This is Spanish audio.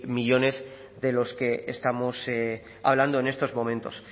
millónes de los que estamos hablando en estos momentos